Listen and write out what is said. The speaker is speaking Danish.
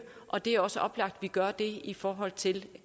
og det er også oplagt at vi gør det i forhold til